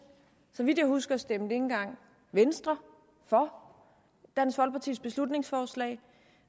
så vidt jeg husker stemte ikke engang venstre for dansk folkepartis beslutningsforslag